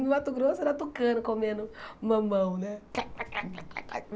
No Mato Grosso era tucano comendo mamão, né?